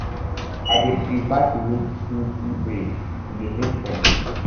i dey um prefer to make kinky um braids e dey make sense